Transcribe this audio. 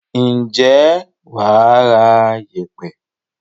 Ǹjẹ́ wà á ra yèèpẹ̀.